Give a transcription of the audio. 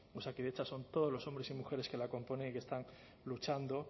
osakidetza son todos los hombres y mujeres que la componen y que están luchando